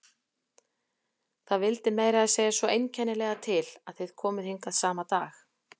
Það vildi meira að segja svo einkennilega til að þið komuð hingað sama dag.